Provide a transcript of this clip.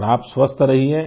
और आप स्वस्थ रहिये